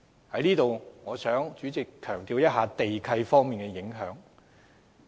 主席，我想在此強調地契的影響力。